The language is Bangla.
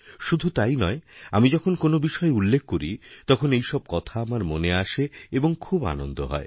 শুধুতাই নয় আমি যখন কোনো বিষয় উল্লেখ করি তখন এইসব কথা আমার মনে আসে এবং খুব আনন্দহয়